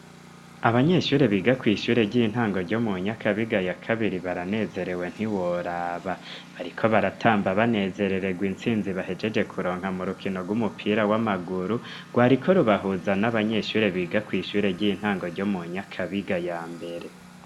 Abanyeshure biga kw'ishure ry'intango ryo mu Nyakabiga ya kabiri baranezerewe ntiworaba, bariko baratamba banezerererwa insinzi bahejeje kuronka mu rukino rw'umupira w'amaguru, rwariko rubahuza n'abanyeshure biga kw'ishure ry'intango ryo mu Nyakabiga ya mbere.